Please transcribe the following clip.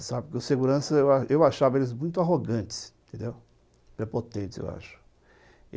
Eu achava eles muito arrogantes, prepotentes, eu acho.